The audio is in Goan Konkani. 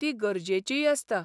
ती गरजेचीय आसता.